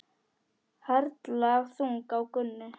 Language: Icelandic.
Harla þung á Gunnu.